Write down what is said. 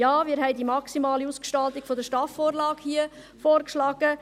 Ja, wir haben die maximale Ausgestaltung der STAF-Vorlage hier vorgeschlagen.